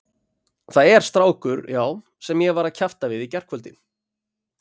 Það er strákur, já, sem ég var að kjafta við í gærkvöldi.